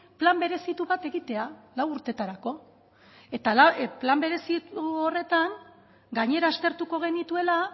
plan berezitu bat egitea lau urtetarako eta plan berezitu horretan gainera aztertuko genituela